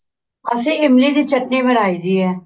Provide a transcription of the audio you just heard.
ਅਸੀਂ ਇਮਲੀ ਦੀ ਚਟਨੀ ਬਣਾਈ ਦੀ ਹੈ